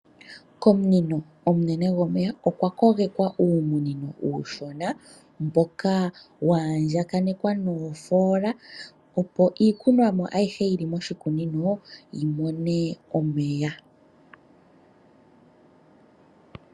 Komunino omunene gwomeya okwa kogekwa uumunino uushona mboka wa andjakanekwa nuufoola opo iikunomwa ayihe yili moshikunino yimone omeya.